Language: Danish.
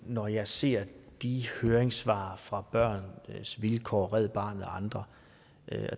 når jeg ser de høringssvar fra børns vilkår red barnet og andre